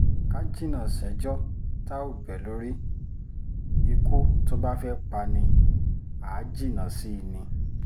ká jìnnà séjò tá ò bẹ́ lórí ikú tó bá fẹ́ẹ́ pa ni àá jìnnà sí i ni